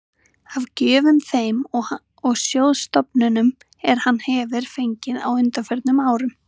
af gjöfum þeim og sjóðstofnunum, er hann hefir fengið á undanförnum árum.